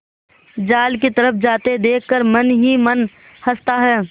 जाल की तरफ जाते देख कर मन ही मन हँसता है